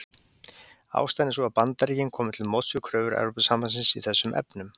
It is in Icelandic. Ástæðan er sú að Bandaríkin komu til móts við kröfur Evrópusambandsins í þessum efnum.